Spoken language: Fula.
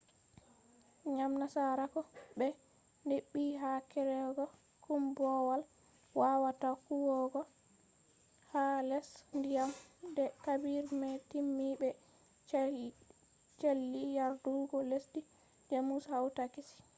ngam nasarako ɓe heɓɓi ha kerugo koombowal wawata huwugo ha les diyam nde habire mai timmi be sali yardugo lesdi jamus hawta kesi